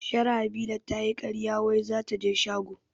Sharhabila tayi karya wai zataje shago